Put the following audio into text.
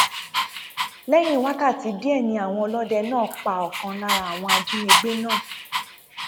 lẹyìn wákàtí díẹ ni àwọn ọlọdẹ náà pa ọkan lára àwọn ajínigbé náà